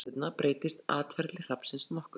á haustin og veturna breytist atferli hrafnsins nokkuð